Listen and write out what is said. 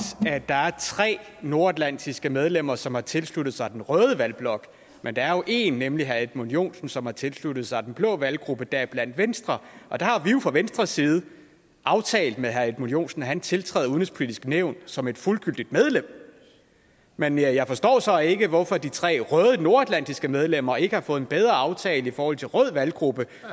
at der er tre nordatlantiske medlemmer som har tilsluttet sig den røde valgblok men der er jo en nemlig herre edmund joensen som har tilsluttet sig den blå valggruppe deriblandt venstre og der har vi jo fra venstres side aftalt med herre edmund joensen at han tiltræder udenrigspolitisk nævn som et fuldgyldigt medlem men jeg forstår så ikke hvorfor de tre røde nordatlantiske medlemmer ikke har fået en bedre aftale i forhold til rød valggruppe